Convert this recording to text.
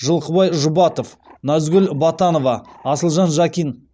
жылқыбай жұбатов назгүл батанова асылжан жакин